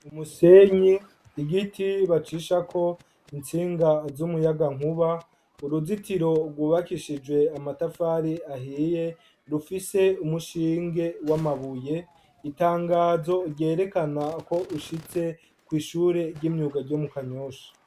Umusenyi, igiti bacishako intsinga z'umuyagankuba , uruzitiro rwubakishije amatari ahiye rufise umushinge w'amabuye itangazo ryerekana ko ushitse kw'ishure ry'imyuga ryo mu Kanyosha.